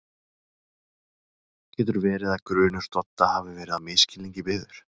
Getur verið að grunur Dodda hafi verið á misskilningi byggður?